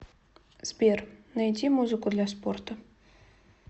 сбер найди музыку для спорта